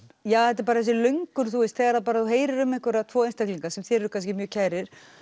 þetta er þessi löngun þegar þú heyrir um tvo einstaklinga sem þér eru kannski mjög kærir